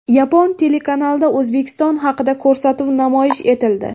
Yapon telekanalida O‘zbekiston haqida ko‘rsatuv namoyish etildi.